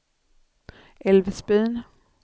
Älvsbyn